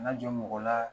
Na jɔ mɔgɔ la